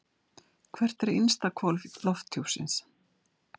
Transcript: Hvert er innsta hvolf lofthjúpsins?